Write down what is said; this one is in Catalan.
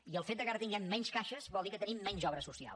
i el fet que ara tinguem menys caixes vol dir que tenim menys obra social